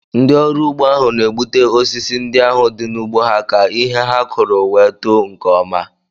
Ndị ọrụ ugbo ahụ na-egbutu osisi ndị ahụ di n'ugbo ha ka ihe ha kụrụ wee too nke ọma.